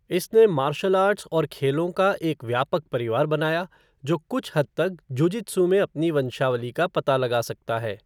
इसने martial arts और खेलों का एक व्यापक परिवार बनाया जो कुछ हद तक जुजित्सु में अपनी वंशावली का पता लगा सकता है।